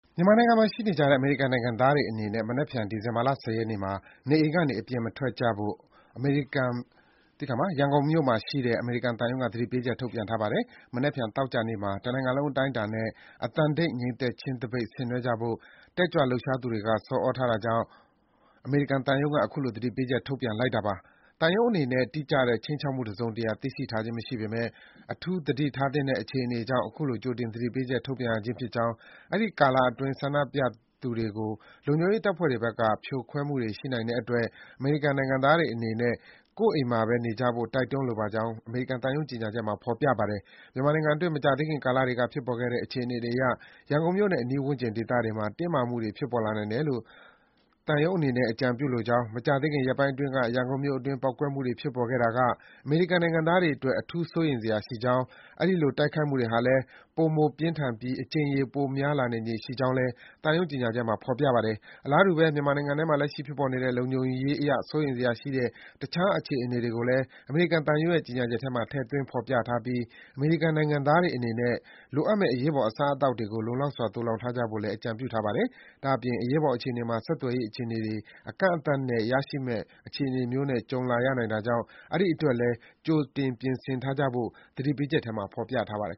မြန်မာနိုင်ငံမှာရှိနေကြတဲ့ အမေရိကန်နိုင်ငံသားတွေအနေနဲ့ မနက်ဖြန် ဒီဇင်ဘာ ၁၀ ရက်နေ့မှာ နေအိမ်ကနေ အပြင်မထွက်ကြဖို့ ရန်ကုန်မြို့မှာရှိတဲ့ အမေရိကန်သံရုံးက သတိပေးချက် ထုတ်ပြန်ထားပါတယ်။ မနက်ဖြန် သောကြာနေ့မှာ တနိုင် ငံလုံးအတိုင်းအတာနဲ့ အသံတိတ် ငြိမ်သက်ခြင်းသပိတ် ဆင်နွဲကြဖို့ တက်ကြွလှုပ် ရှားသူတွေက ဆော်သြထားတာကြောင့် အမေရိကန်သံရုံးက အခုလို သတိပေးချက် ထုတ်ပြန်လိုက်တာပါ။ သံရုံးအနေနဲ့ တိကျတဲ့ ခြိမ်းခြောက်မှုတစုံတရာကို သိရှိထားခြင်းမရှိပေမယ့် အထူးသတိထားသင့်တဲ့အခြေအနေကြောင့် အခုလို ကြိုတင်သတိပေးချက် ထုတ်ပြန်ရခြင်းဖြစ်ကြောင်း၊ အဲဒီကာလအတွင်း ဆန္ဒပြပွဲသူတွေကို လုံခြုံရေးတပ်ဖွဲ့တွေဘက် က ဖြိုခွဲမှုတွေ ရှိနိုင်တဲ့အတွက် အမေရိကန်နိုင်ငံသားတွေအနေနဲ့ ကိုယ့်အိမ်မှာပဲ နေကြဖို့ တိုက်တွန်းလိုပါကြောင်း အမေရိကန်သံရုံးကြေညာချက်မှာ ဖော်ပြထားပါတယ်။ မြန်မာနိုင်ငံအတွင်း မကြာသေးခင်ကာလတွေက ဖြစ်ပေါ်ခဲ့တဲ့ အခြေအနေတွေအရ ရန်ကုန်မြို့နဲ့ အနီးဝန်းကျင်ဒေသတွေမှာ တင်းမာမှုတွေ ဖြစ်ပေါ်လာနိုင်တယ် လို့ သံရုံးအနေနဲ့ အကြံပြုလိုကြောင်း၊ မကြာသေးခင် ရက်ပိုင်းအတွင်းက ရန်ကုန်မြို့အတွင်း ပေါက်ကွဲမှုတွေ ဖြစ်ပေါ်ခဲ့တာတွေက အမေရိကန်နိုင်ငံသားတွေအတွက် အထူး စိုးရိမ်စရာရှိကြောင်း၊ အဲဒီလို တိုက်ခိုက်မှုတွေဟာလည်း ပိုမိုပြင်းထန်ပြီး အကြိမ်ရေ ပိုများလာနိုင်ခြေရှိကြောင်း အမေရိကန်သံရုံးကြေညာချက်မှာ ဖော်ပြထားပါတယ်။ အလားတူပဲ မြန်မာနိုင်ငံထဲမှာ လက်ရှိဖြစ်ပေါ်နေတဲ့ လုံခြုံရေးအရ စိုးရိမ်စရာရှိတဲ့ တခြား အခြေအနေတွေကိုလည်း အမေရိကန်သံရုံးရဲ့ ကြေညာချက်ထဲမှာ ထည့်သွင်း ဖော်ပြထားပြီး အမေရိကန်နိုင်ငံသားတွေအနေနဲ့ လိုအပ်မယ့် အရေးပေါ် အစား အသောက်တွေကို လုံလောက်စွာ သိုလှောင်ထားကြဖို့ကိုလည်း အကြံပြုထားပါတယ်။ ဒါ့အပြင် အရေးပေါ်အခြေအနေမှာ ဆက်သွယ်ရေးအခြေအနေတွေ အကန့် အသတ်နဲ့ ရရှိမယ့်အခြေအနေမျိုးနဲ့ ကြုံလာရနိုင်တာကြောင့် အဲဒီအတွက်လည်း ကြိုတင် ပြင်ဆင်ထားကြဖို့ သတိပေးချက်ထဲမှာ ဖော်ပြထားပါတယ်။